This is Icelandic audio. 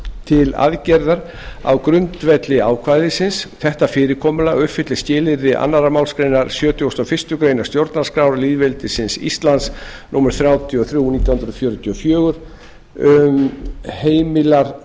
til aðgerða á grundvelli ákvæðisins þetta fyrirkomulag uppfyllir skilyrði önnur málsgrein sjötugustu og fyrstu grein stjórnarskrár lýðveldisins íslands númer þrjátíu og þrjú nítján hundruð fjörutíu og fjögur